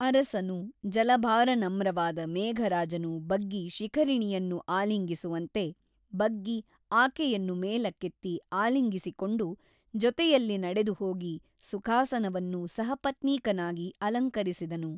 ಅರಸನು ಜಲಭಾರ ನಮ್ರವಾದ ಮೇಘರಾಜನು ಬಗ್ಗಿ ಶಿಖರಿಣಿಯನ್ನು ಆಲಿಂಗಿಸುವಂತೆ ಬಗ್ಗಿ ಆಕೆಯನ್ನು ಮೇಲಕ್ಕೆತ್ತಿ ಆಲಿಂಗಿಸಿಕೊಂಡು ಜೊತೆಯಲ್ಲಿ ನಡೆದುಹೋಗಿ ಸುಖಾಸನವನ್ನು ಸಹಪತ್ನೀಕನಾಗಿ ಅಲಂಕರಿಸಿದನು.